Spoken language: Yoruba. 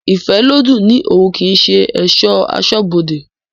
Ifẹ́lodùn ni oún kii ṣe esọ̀ asọ́bodè